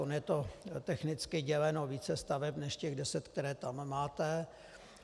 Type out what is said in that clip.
Ono je to technicky děleno více staveb než těch deset, které tam máte.